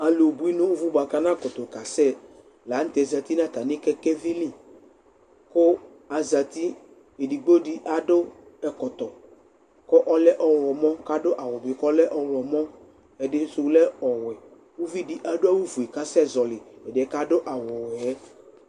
Alubui nʋ uzi buakʋ anakutu kasɛ lanu tɛ azǝti nʋ kɛkɛvɩ li, kʋ azǝti Edigbo di adu ɛkɔtɔ kʋ ɔlɛ ɔɣlɔmɔ, kʋ adu awu bɩ kʋ ɔlɛ ɔɣlɔmɔɛdɩsu lɛ ɔwɛ Uvidi adu awufue kʋ asɛzɔlɩ ɛdɩ yɛ kʋ adu awuwɛ yɛ